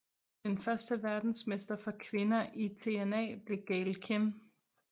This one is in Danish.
Den første verdensmester for kvinder i TNA blev Gail Kim